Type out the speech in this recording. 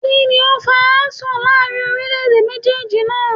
Kíni o fa asọ̀ láàrin orílé èdè méjéèjì naa?